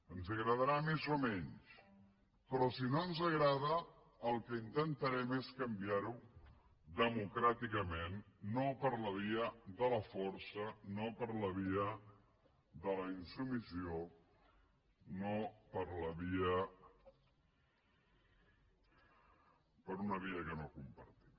ens agradarà més o menys però si no ens agrada el que intentarem és canviar ho democràticament no per la via de la força no per la via de la insubmissió no per una via que no compartim